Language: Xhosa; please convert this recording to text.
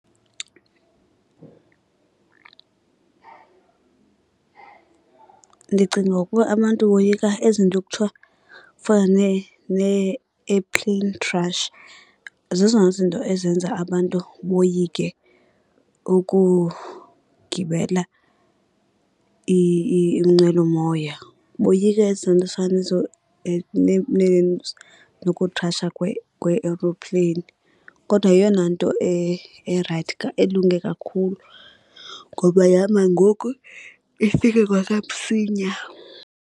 Ndicinga ukuba abantu boyika ezinto khuthwa fana nee-airplane crash. Zezona zinto ezenza abantu boyike ukugibela inqwelomoya, boyika eza nto zifana nezo nokukhrasha kwee-aeroplane. Kodwa yeyona nto erayithi elunge kakhulu ngoba ihamba ngoku ifike kwakamsinya.